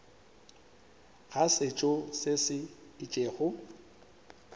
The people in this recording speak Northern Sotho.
ga setšo se se itšego